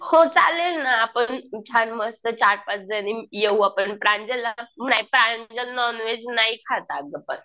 हो चालेल ना आपण छान मस्त चार पाच जणी येऊ आपण प्रांजलला नाही प्रांजल नॉनव्हेज नाही खात अगं पण.